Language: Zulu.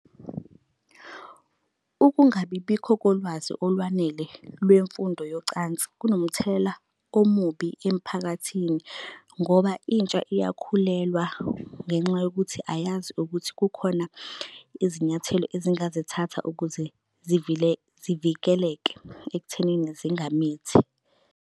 Ukungabibikho kolwazi olwanele lwemfundo yocansi kunomthelela omubi emphakathini, ngoba intsha iyakhulelwa ngenxa yokuthi ayazi ukuthi kukhona izinyathelo ezingazithatha ukuze zivikeleke ekuthenini zingamithi.